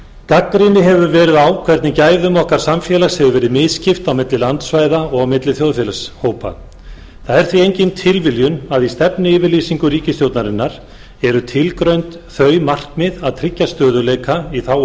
gagnrýni hefur verið á hvernig gæðum okkar samfélags hefur verið misskipt á milli landsvæða og á milli þjóðfélagshópa það er því engin tilviljun að í stefnuyfirlýsing ríkisstjórnarinnar eru tilgreind þau markmið að tryggja stöðugleika í þágu